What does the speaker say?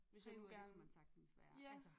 3 uger det kan man sagtens være altså